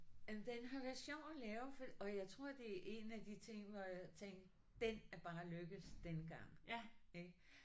Jamen den har været sjov at lave for og jeg tror at det er en af de ting hvor jeg tænkte den er bare lykkes denne gang ikk